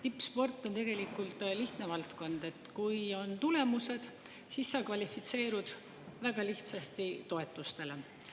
Tippsport on tegelikult lihtne valdkond: kui on tulemused, siis sa väga lihtsasti kvalifitseerud toetust.